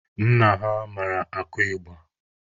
Nna ha mara akụ ịgba.